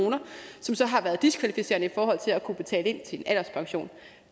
som så har været diskvalificerende i forhold til at kunne betale ind til en alderspension